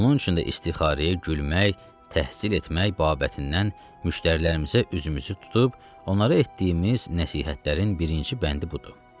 Onun üçün də istixarəyə gülmək, təhsil etmək babətindən müştərilərimizə üzümüzü tutub onlara etdiyimiz nəsihətlərin birinci bəndi budur.